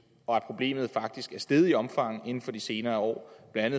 og at problemet faktisk er steget i omfang inden for de senere år blandt